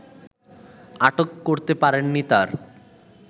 আটক করতে পারেননি তার